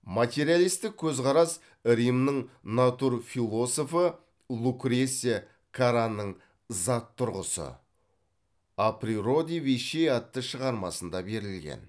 материалистік көзқарас римнің натурфилософы лукреция караның зат тұрғысы о природе вещей атты шығармасында берілген